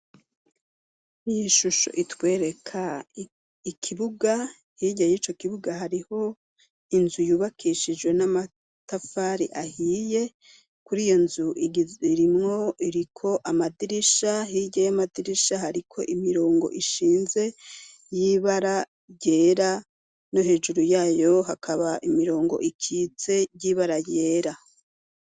Iyi shusho itwereka ikibuga hirya y'ico kibuga hariho inzu yubakishijwe n'amatafari ahiye kuri iyo nzu irimwo iriko amadirisha hirya y'amadirisha hariko imirongo ishinze y'ibara ryera no hejuru yayo hakaba imirongo ikitse yibara yera.